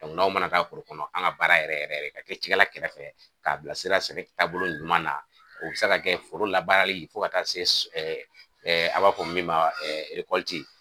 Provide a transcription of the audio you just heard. N'aw mana taa foro kɔnɔ an ka baara yɛrɛ yɛrɛ ka kɛ clkɛla kɛrɛfɛ k'a bilasira sɛnɛ taabolo ɲuman na o bɛ se ka kɛ foro labaarali fo ka taa se a b'a fɔ min ma .